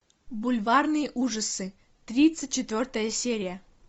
бульварные ужасы тридцать четвертая серия